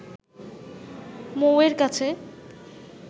মৌয়ের কাছে